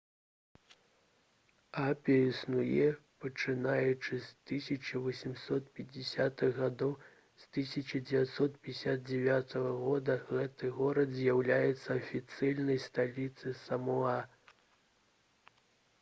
апія існуе пачынаючы з 1850-х гадоў з 1959 года гэты горад з'яўляеца афіцыйнай сталіцай самоа